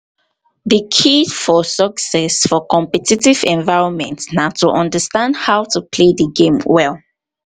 di key for success for competitive environments na to understand how to play di game well.